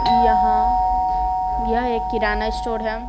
यहाँयह एक किराना स्टोर है।